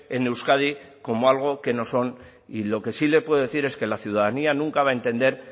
en euskadi como algo que no son y lo que sí le puedo decir es que la ciudadanía nunca va a entender